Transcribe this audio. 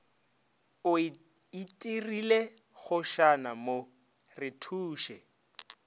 o itirile kgošana mo rethuše